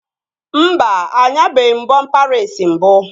Mba, anyabeghi m bọmpa reesi mbụ